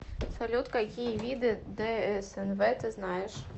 салют какие виды дснв ты знаешь